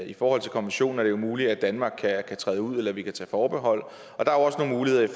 i forhold til konventioner er det jo muligt at danmark kan træde ud eller at vi kan tage forbehold der er også nogle muligheder